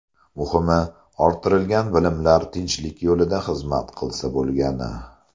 Muhimi, orttirilgan bilimlar tinchlik yo‘lida xizmat qilsa bo‘lgani.